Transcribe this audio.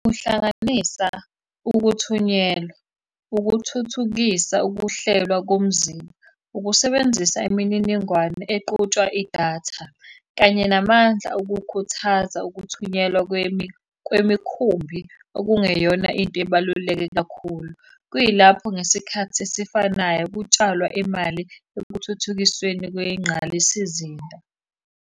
Ukuhlanganisa ukuthunyelwa, ukuthuthukisa ukuhlelwa komzimba, ukusebenzisa imininingwane equtshwa idatha, kanye namandla okukhuthaza ukuthunyelwa kwemikhumbi okungeyona into ebaluleke kakhulu. Kuyilapho ngesikhathi esifanayo kutshalwa imali ekuthuthukisweni kwengqalisizinda.